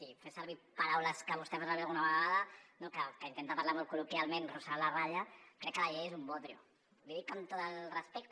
si fes servir paraules que vostè fa servir alguna vegada que intenta parlar molt col·loquialment fregant la ratlla crec que la llei és un bodrio l’hi dic amb tot el respecte